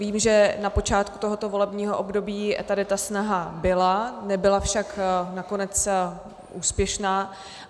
Vím, že na počátku tohoto volebního období tady ta snaha byla, nebyla však nakonec úspěšná.